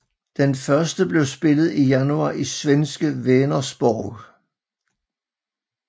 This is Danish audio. Den første blev spillet i januar i svenske Vänersborg